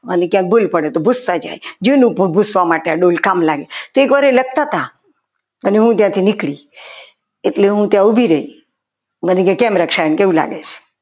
અને ક્યાંક ભૂલ પડે તો ભુસતા જાય જૂનું પૂછવા માટે આ ડોલ કામ લાગે એકવાર એ લખતા હતા અને હું ત્યાંથી નીકળી એટલે હું તો ઉભી રહી મને કેમ રક્ષાબેન કેવું લાગે?